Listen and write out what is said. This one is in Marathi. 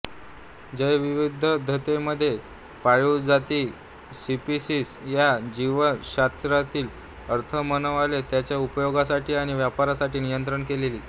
जैवविविधतेमध्ये पाळीव जाती स्पीसिस याचा जीवशास्त्रातील अर्थ मानवाने त्याच्या उपयोगासाठी आणि वापरासाठी नियंत्रित केलेली